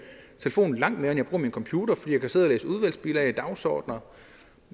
telefon langt mere end jeg bruger min computer fordi jeg kan sidde og læse udvalgsbilag og dagsordener